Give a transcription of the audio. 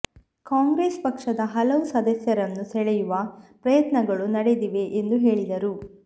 ಕಾಂಗ್ರೆಸ್ ಪಕ್ಷದ ಹಲವು ಸದಸ್ಯರನ್ನು ಸೆಳೆಯುವ ಪ್ರಯತ್ನಗಳು ನಡೆದಿವೆ ಎಂದು ಹೇಳಿದರು